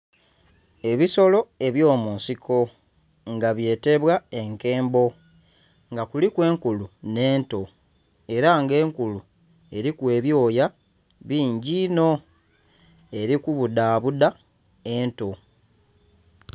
Ebisolo ebyomunsiko nga byetebwa enkembo nga kuliku enkulu n'eto era nga enkulu eriku ebyoya bingi ino eri kubudhabudha eyo.